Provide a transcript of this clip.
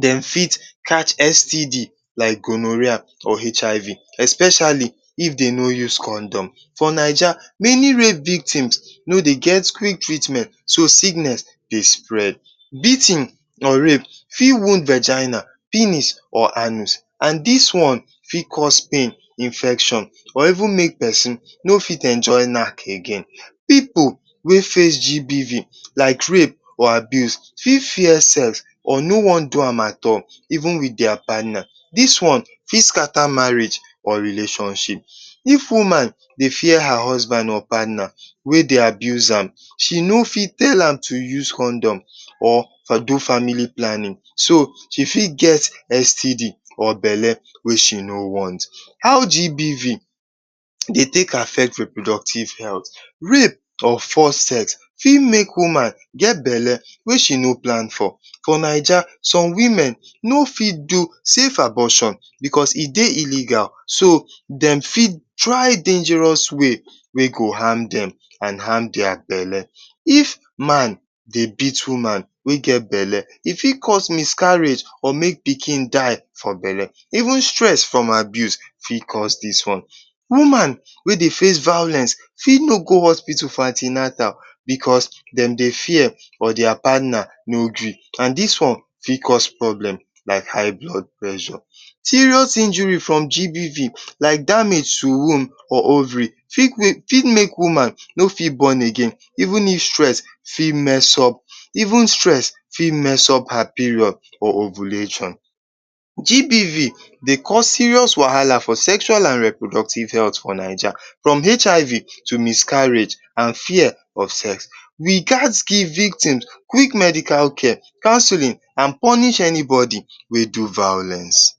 dem fit catch STD like gonohoerr or HIV especiali if dey no use condom. For Naija, meni rape victim no dey get treatment so sickness dey spread. Beatin or rape fit wound vigina…? or anus and dis one fit cause pain, infection and even make pesin no fit enjoy knack again. Pipu wey face GBV like rape fit fear sex or no wan do am at all, even with dia partna, dis one fit skata marriage or relationship. If woman dey fear her husband or partner wey dey abuse am, she no fit tell am to use condom or do family planning so, she fit get STD or bele wey she no want. How GBV dey take affect reproductive healt? Rape or force sex fit make woman get bele wey she no plan for, for Naija some women no fit do safe abortion because e dey ilgal so dem fit try dangerous way wey go ham dem and harm dia bele. If man dey beat woman wey get bele, e fit cause miscarriage or mey pikin die for bele. Even stress from abuse fit cause dis one. Woman wey dey face violence fit no go hospital for anti-natal because dem dey fear or dia partner no gree, dis one fit cause problem like high blood pressure. Serious injury from GBV like damage to womb or ovary fit make woman no fit born again. Even stress fit mess up her period or ovulation. GBV dey cause serious wahala for sexual and reproductive health for Naija, from HIV to miscarriage and fear for sex,…………? victim, quick medical care counseling and purnish anybody wey do vilence.